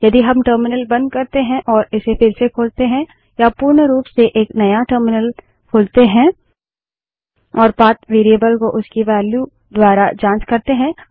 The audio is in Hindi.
यदि हम टर्मिनल बंद करते हैं और इसे फिर से खोलते हैं या पूर्ण रूप से एक नया टर्मिनल खोलते हैं और पाथ वेरिएबल को उसकी वेल्यू द्वारा की जाँच करते हैं